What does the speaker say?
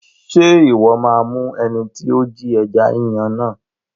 Ṣé Ìwọ́ máa mú ẹni tí ó Jí ẹja Yíyan náà?